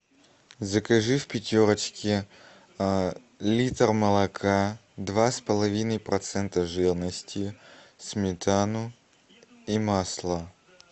закажи в пятерочке литр молока два с половиной процента жирности сметану и масло